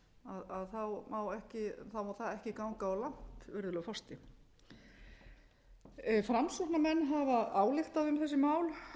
líka það má ekki ganga of langt virðulegur forseti framsóknarmenn hafa ályktað um þessi mál